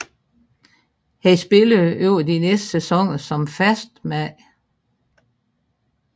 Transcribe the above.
Han spillede over de næste sæsoner som fast mand